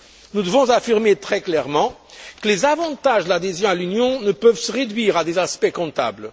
Nous devons affirmer très clairement que les avantages de l'adhésion à l'Union ne peuvent se réduire à des aspects comptables.